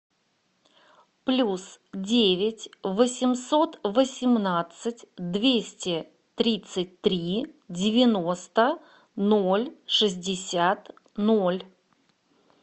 плюс девять восемьсот восемнадцать двести тридцать три девяносто ноль шестьдесят ноль